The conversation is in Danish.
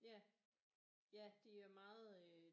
Ja ja de er meget øh